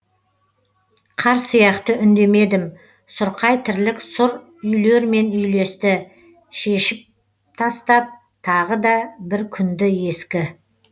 қар сияқты үндемедім сұрқай тірлік сұр үйлермен үйлесті шешіп тастап тағы да бір күнді ескі